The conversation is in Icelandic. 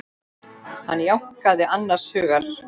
Hann jánkaði annars hugar.